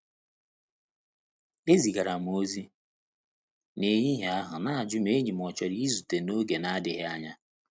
E zigara m ozi n'ehihie a n'ajụ ma enyi m ọ chọrọ i zute n’oge n'adịghị anya.